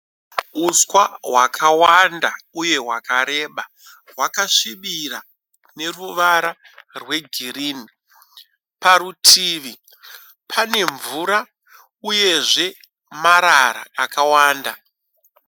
Uswa hwakawanda uye hwakareba. Hwakasvibira neruwara rwe girini. Parutivi pane mvura uyezve marara akawanda.